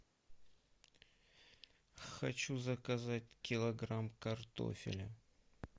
хочу заказать килограмм картофеля